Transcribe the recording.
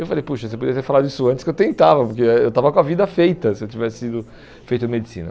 Eu falei, poxa, você poderia ter falado isso antes que eu tentava, porque ah eu estava com a vida feita, se eu tivesse sido feito em medicina.